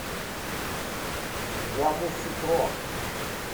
ямусукро